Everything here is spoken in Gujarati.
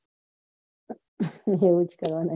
આવુજ છે